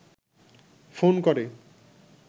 phone করে